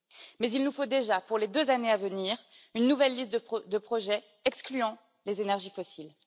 Mais il nous faut déjà, pour les deux années à venir, une nouvelle liste de projets excluant les énergies fossiles.